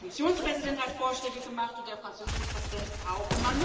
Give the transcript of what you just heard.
Der Kommissionspräsident hat Vorschläge gemacht und der französische Präsident auch.